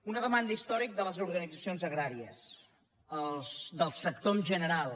una demanda històrica de les organitzacions agràries del sector en general